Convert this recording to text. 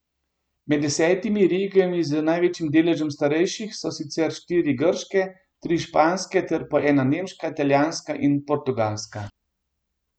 Med desetimi regijami z največjim deležem starejših so sicer štiri grške, tri španske, ter po ena nemška, italijanska in portugalska.